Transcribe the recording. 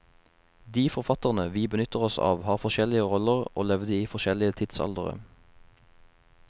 De forfatterne vi benytter oss av har forskjellige roller, og levde i forskjellige tidsaldere.